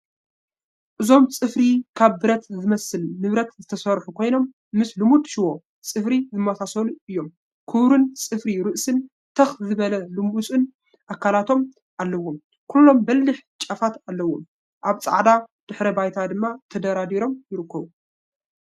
እዞም ጽፍሪ ካብ ብረት ዝመስል ንብረት ዝተሰርሑ ኮይኖም፡ ምስ 'ልሙድ ሽቦ ጽፍሪ' ዝመሳሰሉ እዮም። ክቡርን ጸፍሒ ርእስን ትኽ ዝበለን ልሙጽን ኣካላቶምን ኣለዎም። ኩሎም በሊሕ ጫፋት ኣለዎም፣ ኣብ ጻዕዳ ድሕረ ባይታ ድማ ተደራሪቦም ይርከቡ።